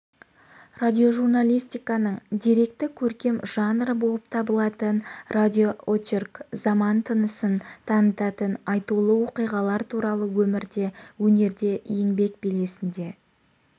радиожурналистиканың деректі-көркем жанры болып табылатын радиоочерк заман тынысын танытатын айтулы оқиғалар туралы өмірде өнерде еңбек белесінде